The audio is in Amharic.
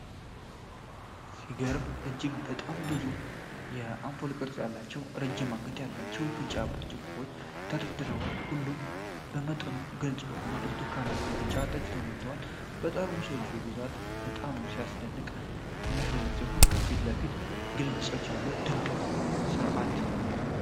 ሲገርም! እጅግ በጣም ብዙ የአምፑል ቅርጽ ያላቸው፣ ረጅም አንገት ያላቸው ቢጫ ብርጭቆዎች ተደርድረዋል። ሁሉም በመጠኑ ግልጽ በሆነ ብርቱካናማ-ቢጫ ጠጅ ተሞልተዋል። የጠርሙሶቹ ብዛት በጣም የሚያስደንቅ ሲሆን፣ ከፊት ለፊቶቹ በግልጽ አሉ። ድንቅ የምርት ሥርዓት!